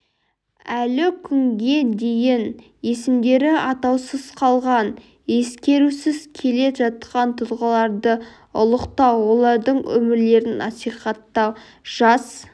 әлі күнге дейін есімдері атаусыз қалған ескерусіз келе жатқан тұлғаларды ұлықтау олардың өмірлерін насихаттау жас